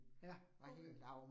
Ja, okay